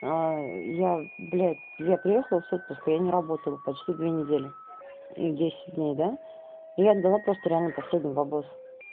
я блядь я приехала с отпуска я не работала почти две недели десять дней да и отдала просто реально последний бабос